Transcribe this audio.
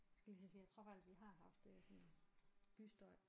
Skulle lige til at sige jeg tror faktisk vi har haft øh sådan bystøj